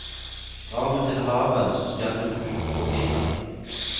Drar du til havet, så skal du ut på piren.